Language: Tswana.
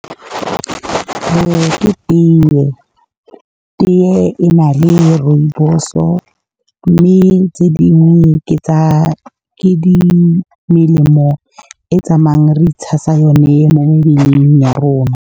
Ke tee, tee e na le rooibos-o, mme tse dingwe ke melemo e tsamayang re itshasa yone mo mebeleng ya rona.